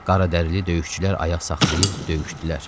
Qara dərili döyüşçülər ayaq saxlayıb döyüşdülər.